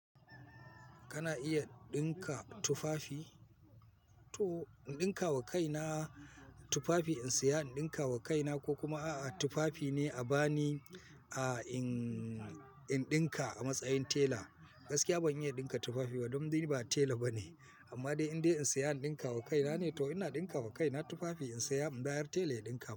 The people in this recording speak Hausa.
Kana iya ɗinka tufafi? To in ɗinka wa kaina tufafi in saya, in ɗinka wa kaina ko kuma a'a tufafi ne a ba ni, a in, in ɗinka a matsayin tela. Gaskiya ban iya ɗinka tufafi ba, don dai ni ba tela bane amma dai in dai in saya in ɗinka wa kaina ne to ina ɗinka wa kaina tufafi in saya, in bayar tela ya ɗinka.